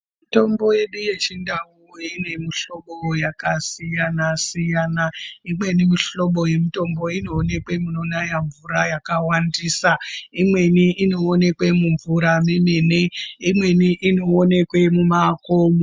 Mitombo yedu yechindau ine mihlobo yakasiyana-siyana. Imweni mihlobo yemitombo inoonekwe munonaya mvura yakawandisa, imweni inoonekwe mumvura memene, imweni inoonekwe mumakomo.